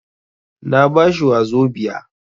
Na ba shi wazobia.